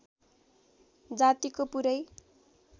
जातिको पुरै